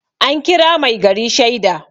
an kira mai gari shaida